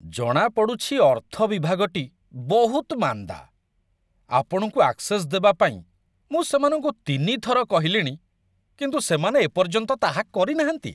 ଜଣାପଡ଼ୁଛି ଅର୍ଥ ବିଭାଗଟି ବହୁତ ମାନ୍ଦା। ଆପଣଙ୍କୁ ଆକ୍‌ସେସ୍‌ ଦେବାପାଇଁ ମୁଁ ସେମାନଙ୍କୁ ୩ ଥର କହିଲିଣି, କିନ୍ତୁ ସେମାନେ ଏ ପର୍ଯ୍ୟନ୍ତ ତାହା କରିନାହାନ୍ତି।